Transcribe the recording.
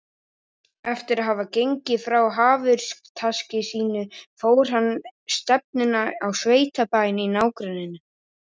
Eftir að hafa gengið frá hafurtaski sínu tók hann stefnuna á sveitabæinn í nágrenninu.